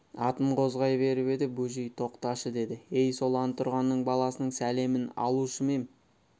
атын қозғай беріп еді бөжей тоқташы деді ей сол антұрғанның баласының сәлемін алушы ма ем